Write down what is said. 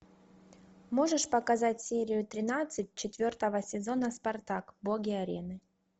можешь показать серию тринадцать четвертого сезона спартак боги арены